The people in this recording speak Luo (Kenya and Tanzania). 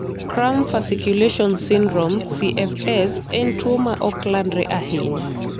Cramp fasciculation syndrome (CFS) en tuwo ma ok landre ahinya.